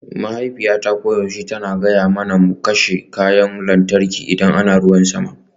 Mahaifiyata koyaushe tana gaya mana mu kashe kayan lantarki idan ana ruwan sama